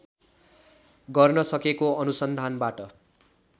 गर्न सकेको अनुसन्धानबाट